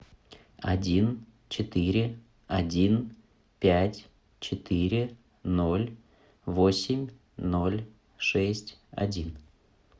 один четыре один пять четыре ноль восемь ноль шесть один